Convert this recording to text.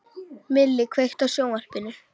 Milli, kveiktu á sjónvarpinu.